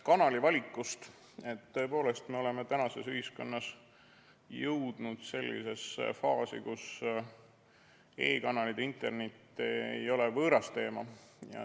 Kõigepealt, me tõepoolest oleme tänases ühiskonnas jõudnud sellisesse faasi, kus e-kanalid ja internet ei ole võõras teema.